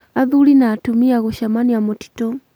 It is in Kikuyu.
Athuri na atumia gũcemanĩa mũtĩtũ